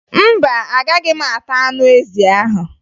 Mba, Agaghị m ata anụ ezi ahụ